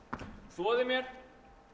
þvoði mér